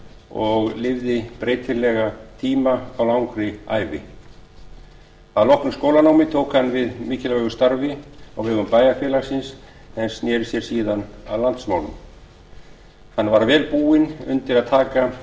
og lifði breytilega tíma á langri ævi að loknu skólanámi tók hann við mikilvægu starfi á vegum bæjarfélagsins en sneri sér síðan að landsmálum hann var vel búinn undir að taka